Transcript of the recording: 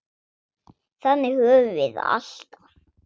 Þannig höfum við það alltaf.